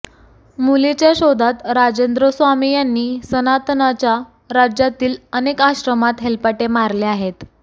मुलीच्या शोधात राजेंद्र स्वामी यांनी सनातनच्या राज्यातील अनेक आश्रमात हेलपाटे मारले आहेत